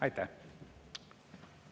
Aitäh!